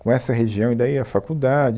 Com essa região e daí a faculdade,